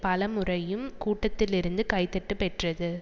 பல முறையும் கூட்டத்தில் இருந்து கைதட்டு பெற்றது